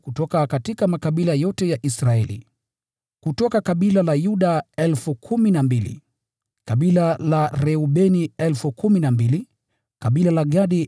Kutoka kabila la Yuda 12,000 walitiwa muhuri, kutoka kabila la Reubeni 12,000, kutoka kabila la Gadi 12,000,